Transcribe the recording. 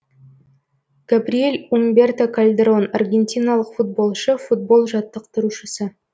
габриэль умберто кальдерон аргентиналық футболшы футбол жаттықтырушысы